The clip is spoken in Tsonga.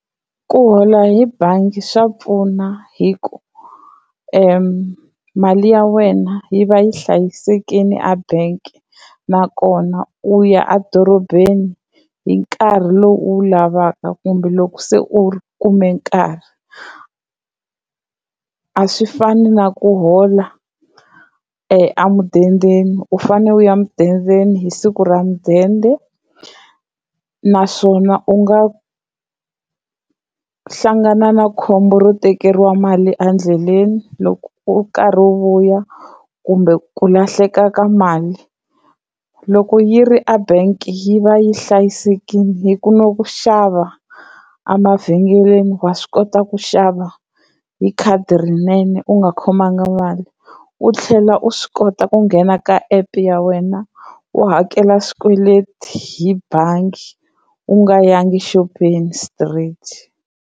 Ku hola hi bangi swa pfuna hi ku mali ya wena yi va yi hlayisekile a bank, nakona u ya edorobeni hi nkarhi lowu u wu lavaka kumbe loko se u kume nkarhi. A swi fani na ku hola a mudendeni u fane u ya mudendeni hi siku ra mudende, naswona u nga ku hlangana na khombo ro tekeriwa mali endleleni loko u karhi u vuya kumbe ku lahleka ka mali. Loko yi ri a bank yi va yi hlayisekile hi ku na ku xava emavhengeleni wa swi kota ku xava hi khadi rinene u nga khomangi mali u tlhela u swi kota ku nghena ka app ya wena u hakela swikweleti hi bangi u nga yangi xopeni straight.